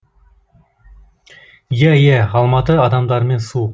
иа иә алматы адамдарымен суық